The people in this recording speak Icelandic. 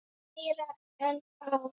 Meira en ár.